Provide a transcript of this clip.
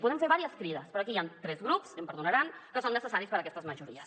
podem fer diverses crides però aquí hi han tres grups i em perdonaran que són necessaris per a aquestes majories